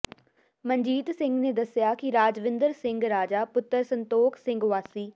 ਮਨਜੀਤ ਸਿੰਘ ਨੇ ਦੱਸਿਆ ਕਿ ਰਾਜਵਿੰਦਰ ਸਿੰਘ ਰਾਜਾ ਪੁੱਤਰ ਸੰਤੋਖ ਸਿੰਘ ਵਾਸੀ